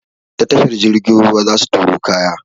Ta tashar jirgin ruwa zasu turo kaya na.